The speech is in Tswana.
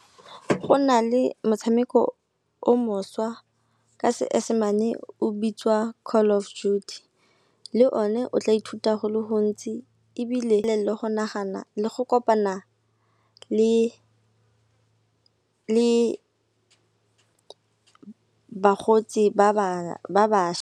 Go nale motshameko o mošwa ka seesemane o bitswa Call of Duty le o ne o tla ithuta go le gontsi ebile le go kopana le bakgotsi ba bašwa.